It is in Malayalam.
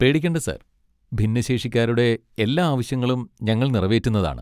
പേടിക്കേണ്ട സാർ, ഭിന്നശേഷിക്കാരുടെ എല്ലാ ആവശ്യങ്ങളും ഞങ്ങൾ നിറവേറ്റുന്നതാണ്.